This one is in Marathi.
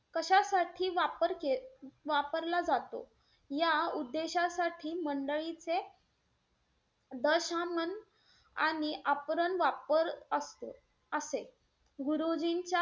साठी वापर~ वापरला जातो या उद्देशासाठी मंडळींचे दशमन आणि आप्रन वापर असतो असेल. गुरुजींच्या,